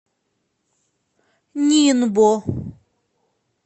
нинбо